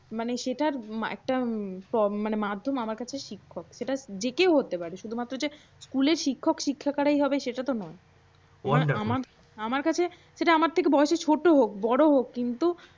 মানে সেটার একটা মানে মাধ্যম আমার কাছে হচ্ছে শিক্ষক। সেটা যে কেউ হতে পারে। শুধু যে স্কুলে শিক্ষক শিক্ষিকা আকারেই হবে সেটা তো নয় আমার কাছে যে আমার থেকে বয়সে ছোট হোক বড় হোক